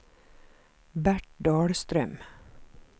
Bert Dahlström